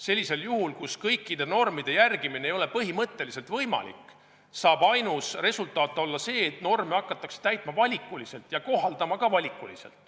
Sellisel juhul, kus kõikide normide järgimine ei ole põhimõtteliselt võimalik, saab ainus resultaat olla see, et norme hakatakse täitma valikuliselt ja kohaldama ka valikuliselt.